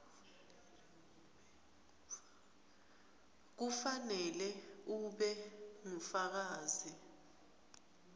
kufanele ube ngufakazi